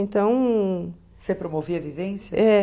Então... Você promovia vivências?